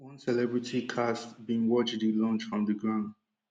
one celebrity cast bin watch di launch from di ground